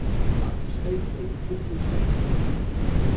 Magn steypu í fullum steypubíl.